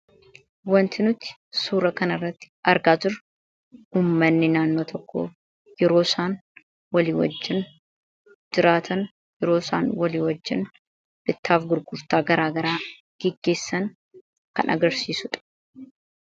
Wanti nuti suura kana irratti argaa turre ummanni naannoo tokko yeroo isaan walii wajjiin jiraatan yeroo isaan of walii wajjin bittaaf gurgurtaa garaagaraa geggeessan kan agarsiisuudha.